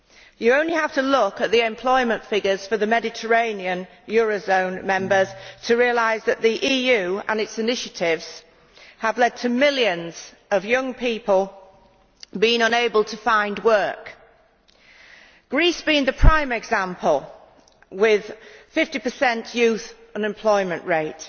You only have to look at the employment figures for the Mediterranean eurozone members to realise that the EU and its initiatives have led to millions of young people being unable to find work, with Greece being the prime example with a 50 youth unemployment rate.